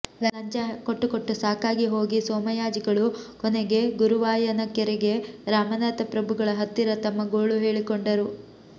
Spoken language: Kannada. ಲಂಚ ಕೊಟ್ಟು ಕೊಟ್ಟು ಸಾಕಾಗಿ ಹೋಗಿ ಸೋಮಯಾಜಿಗಳು ಕೊನೆಗೆ ಗುರುವಾಯನಕೆರೆಗೆ ರಾಮನಾಥ ಪ್ರಭುಗಳ ಹತ್ತಿರ ತಮ್ಮ ಗೋಳು ಹೇಳಿಕೊಂಡರು